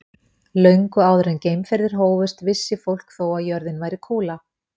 Löngu áður en að geimferðir hófust vissi fólk þó að jörðin væri kúla.